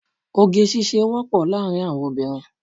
Oge ṣíṣe wọ́pọ̀ láàrín àwọn obìnrin.